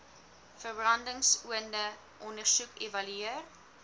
verbrandingsoonde ondersoek evalueer